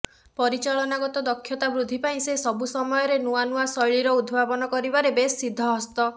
ପରିଚାଳନାଗତ ଦକ୍ଷତା ବୃଦ୍ଧି ପାଇଁ ସେ ସବୁ ସମୟରେ ନୂଆ ନୂଆ ଶୈଳୀର ଉଦ୍ଭାବନ କରିବାରେ ବେଶ ସିଦ୍ଧହସ୍ତ